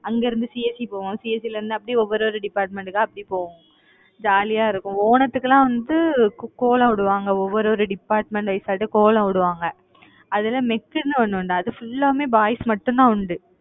அங்கிருந்து CSE போவோம். CSE ல இருந்து அப்படியே ஒவ்வொரு department க்கா அப்படி போவோம் ஜாலியா இருக்கும். ஓணத்துக்கெல்லாம் வந்து கோ~ கோலம் போடுவாங்க, ஒவ்வொரு department wise கோலம் போடுவாங்க, அதுல mech ன்னு ஒண்ணு உண்டு. அது full ஆவுமே boys மட்டும்தான் உண்டு